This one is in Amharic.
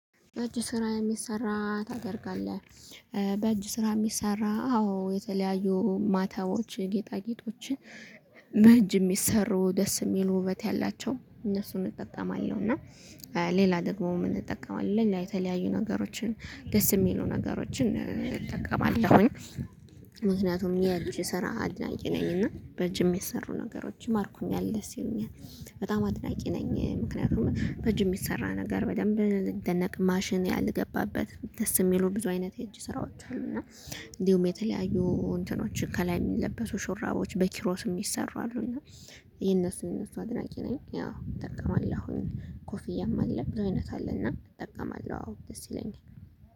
በእጅ ስራ የሚሰራ ታደርጋለህ። በእጅ ስራ ሚሰራ አዎ የተለያዩ ማህተቦች ጌጣጌጦችን በእጅ ሚሰሩ ደስ ሚሉ ውበት ያላቸው እነሱን እጠቀማለሁ። እና ሌላ ደግሞ ምን እጠቀማለሁ ሌላ የተለያዩ ነገሮችን ደስ ሚሉ ነገሮችን እጠቀማለሁኝ። ምክንያቱም የእጅ ስራ አድናቂ ነኝ እና በእጅ የሚሰሩ ነገሮች ይማርኩኛል ደስ ይሉኛል። በጣም አድናቂ ነኝ ምክንያቱም በእጅ የሚሰራ ነገር በደንብ ሊደነቅ ማሽን ያልገባበት ደስ ሚሉ ብዙ አይነት የእጅ ስራዎች አሉ። እና እንዲሁም የተለያዩ እንትኖች ከላይ የሚለበሱ ሹራቦች በኪሮስ ሚሰሩ አሉ። እና የነሱን እነሱ አድናቂ ነኝ ያው እጠቀማለሁኝ። ኮፊያም አለ ብዙ አይነት አለ እና እጠቀማለሁ አዎ ደስ ይለኛል